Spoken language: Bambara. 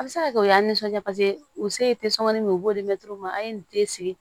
A bɛ se ka kɛ o y'an nisɔndiya paseke u se ye min ye u b'o di mɛtiri ma an ye den sigi